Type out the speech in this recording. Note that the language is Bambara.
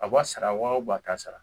A b'a sara wa a t'a sara